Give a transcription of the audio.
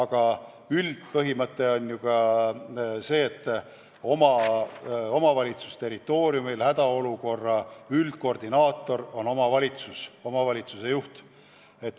Ja üldpõhimõte on, et omavalitsuste territooriumil on hädaolukorra üldkoodinaator omavalitsus koos selle juhiga.